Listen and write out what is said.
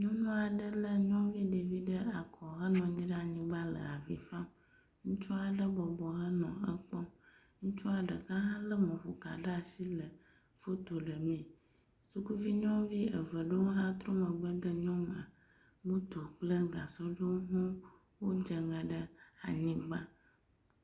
Nyɔnu aɖe lé nyɔnu ɖevi ɖe akɔ henɔ anyi ɖe anyigba le avi fam. Ŋutsu aɖe bɔbɔ henɔ ekpɔm. Ŋutsua ɖeka hã lé mɔƒoka ɖe asi le foto ɖe mee. Sukuvi nyɔnuvi eve ɖewo hã trɔ megbe de nyɔnua. Moto kple gasɔ aɖewo hã dze ŋe ɖe anyigba.